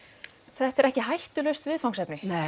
þetta er ekki hættulaust viðfangsefni